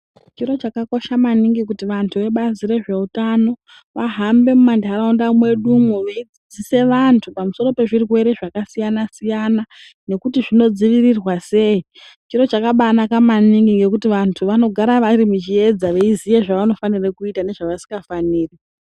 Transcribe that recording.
Chiro chakakosha maningi kuti vantu vebazi rezveutano vahambe mumantaraunda mwedumwo veifundise vantu pamusoro pezvirwere zvakasiyana-siyana nekuti zvinodzivirirwa sei. Chiro chakabaanaka maningi ngekuti vantu vagare vari muchiedza, veiziya zvanofanira kuita nezvavasingafaniri.